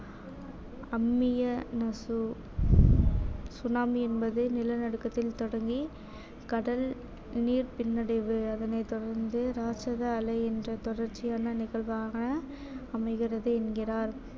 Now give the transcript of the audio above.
tsunami என்பது நிலநடுக்கத்தில் தொடங்கி கடல் நீர் பின்னடைவு அதனைத் தொடர்ந்து ராட்சத அலை என்ற தொடர்ச்சியான நிகழ்வாக அமைகிறது என்கிறார்